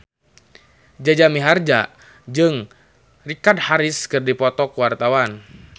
Jaja Mihardja jeung Richard Harris keur dipoto ku wartawan